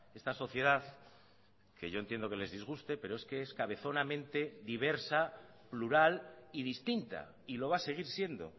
esta sociedad que yo entiendo que les disguste pero es que es cabezonamente diversa plural y distinta y lo va a seguir siendo